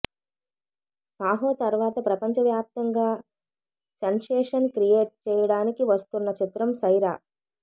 సాహో తర్వాత ప్రపంచవ్యాప్తంగా sensation create చేయడానికి వస్తున్న చిత్రం సైరా